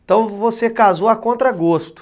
Então você casou a contra gosto.